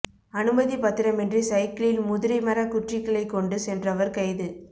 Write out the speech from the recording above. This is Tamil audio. அனுமதிப் பத்திரமின்றி சைக்கிளில் முதிரை மரக் குற்றிகளைக் கொண்டு சென்றவர் கைது